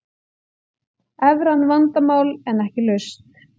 Evran vandamál en ekki lausn